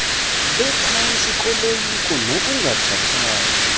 bephantsi koloyiko nokungakhathali